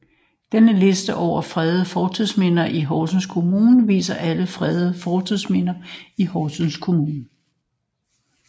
Denne liste over fredede fortidsminder i Horsens Kommune viser alle fredede fortidsminder i Horsens Kommune